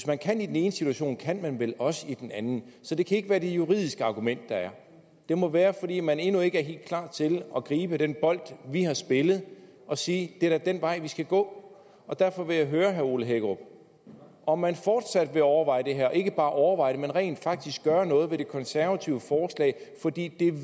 man kan i den ene situation kan man vel også i den anden så det kan ikke være det juridiske argument der er det må være fordi man endnu ikke er helt klar til at gribe den bold vi har spillet og sige det er da den vej vi skal gå derfor vil jeg høre herre ole hækkerup om man fortsat vil overveje det her og ikke bare overveje det men rent faktisk gøre noget ved de konservatives forslag fordi